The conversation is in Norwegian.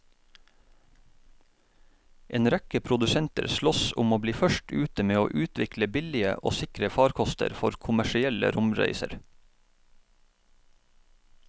En rekke produsenter sloss om å bli først ute med å utvikle billige og sikre farkoster for kommersielle romreiser.